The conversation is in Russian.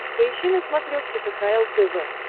поищи на смотрешке кхл тв